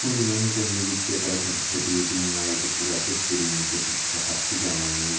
नृत्य करथन धोती वोती मार के पूरा बेहतरीन से पीछे पक्का फुग्गा मन हे।